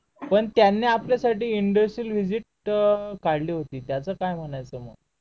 पण त्यांनी आपल्यासाठी इंदुस्तरीयल व्हिजीट काढली होती त्याच काय म्हणायचं मग